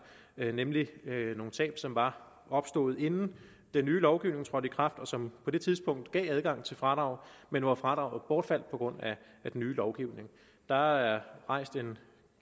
nemlig nogle tab som var opstået inden den nye lovgivning trådte i kraft og som på det tidspunkt gav adgang til fradrag men hvor fradraget bortfaldt på grund af den nye lovgivning der er